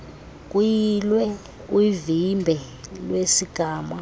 kuyilwe uvimba wesigama